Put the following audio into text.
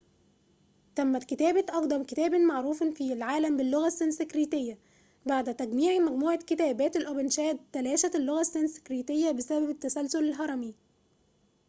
تمت كتابة أقدم كتابٍ معروفٍ في العالم باللغة السنسكريتية بعد تجميع مجموعة كتابات الأوبنشاد تلاشت اللغة السنسكريتية بسبب التسلسل الهرمي